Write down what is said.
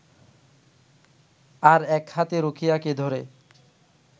আর এক হাতে রুকিয়াকে ধরে